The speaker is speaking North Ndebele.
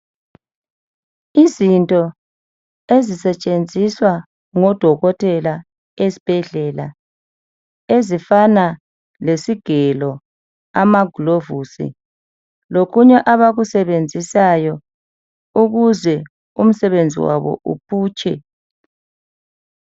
Izinto ezisetshenziswa ngodokotela esibhedlela ezifana lesigelo amagulovisi lokunye abakusenenzisayo ukuze umsebenzi wabo uphutshe.